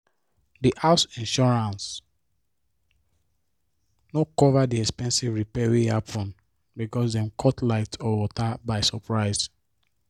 di house insurance no cover the expensive repair wey happen because dem cut light or water by surprise